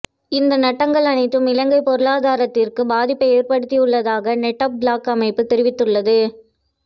இந்த நட்டங்கள் அனைத்தும் இலங்கை பொருளாதாரத்திற்கு பாதிப்பை ஏற்படுத்தியுள்ளதாக நெட் ப்லொக்ஸ் அமைப்பு தெரிவித்துள்ளது